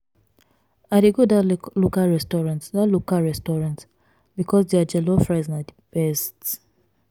i dey go dat local restaurant dat local restaurant because their jollof rice na di best.